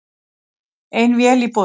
Ein vél í boði